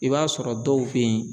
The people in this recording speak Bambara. I b'a sɔrɔ dɔw be yen